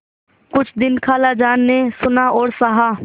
कुछ दिन खालाजान ने सुना और सहा